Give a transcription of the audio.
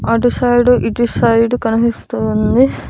అటు సైడు ఇటు సైడు కనిపిస్తుంది.